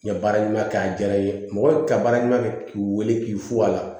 N ye baara ɲuman kɛ a diyara n ye mɔgɔ ka baara ɲuman kɛ k'i wele k'i fo a la